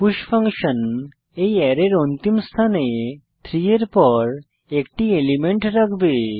push function এই অ্যারের অন্তিম স্থানে 3 এর পর একটি এলিমেন্ট রাখবে